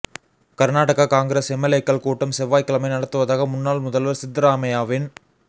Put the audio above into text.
Karnataka Congress எம்எல்ஏக்கள் கூட்டம் செவ்வாய்க்கிழமை நடத்துவதாக முன்னாள் முதல்வர் சித்தராமையாவின்